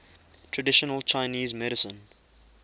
traditional chinese medicine